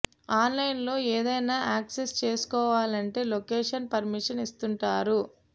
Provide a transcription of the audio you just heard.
on line లో ఏదైనా access చేసుకోవాలంటే లొకేషన్ పర్మిషన్ ఇస్తుంటారు